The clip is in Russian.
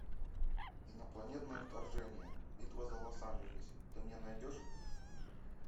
инопланетное вторжение битва за лос анджелес ты мне найдешь